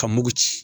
Ka mugu ci